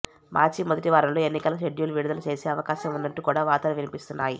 మార్చి మొదటి వారంలో ఎన్నికల షెడ్యూల్ విడుదల చేసే అవకాశం ఉన్నట్టు కూడా వార్తలు వినిపిస్తున్నాయి